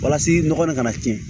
Walasa nɔgɔ in kana tiɲɛ